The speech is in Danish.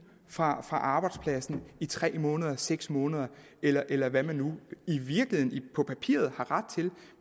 fra arbejdspladsen i tre måneder eller seks måneder eller eller hvad man nu i virkeligheden på papiret har ret til